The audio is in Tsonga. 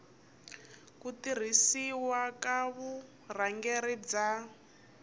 ku tirhisiwa ka vurhangeri bya